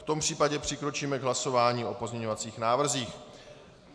V tom případě přikročíme k hlasování o pozměňovacích návrzích.